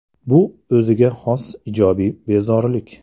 Bu o‘ziga xos ijobiy bezorilik.